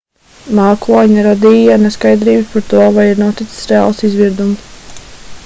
mākoņi radīja neskaidrības par to vai ir noticis reāls izvirdums